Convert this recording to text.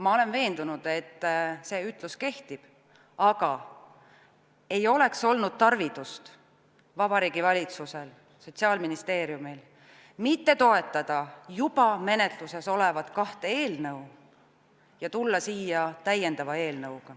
Ma olen veendunud, et see ütlus kehtib, aga Vabariigi Valitsusel ja Sotsiaalministeeriumil ei oleks olnud tarvidust mitte toetada juba menetluses olevat kahte eelnõu ja tulla siia täiendava eelnõuga.